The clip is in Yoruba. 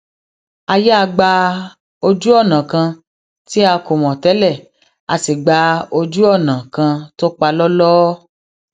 a yà gba ojúònà kan tí a kò mò télè a sì gba ojú ònà kan tó palóló